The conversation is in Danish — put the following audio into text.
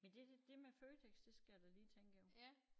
Men det det med Føtex det skal jeg da lige tænke over